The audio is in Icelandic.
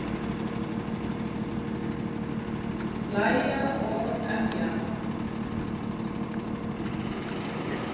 Hlæja og emja.